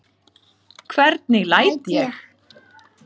Hvernig læt ég?